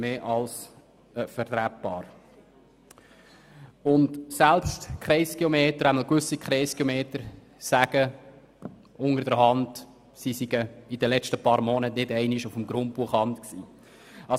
Fragt man die Kreisgeometer, sagen selbst einige von ihnen informell, dass sie in den letzten Jahren nicht auf dem Grundbuchamt waren.